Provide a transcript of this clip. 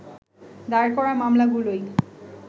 দায়ের করা মামলাগুলোই